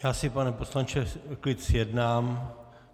Já si pane poslanče klid zjednám.